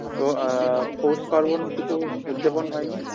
তো আ পৌষ পার্বণ কিছু উদযাপন হয়নি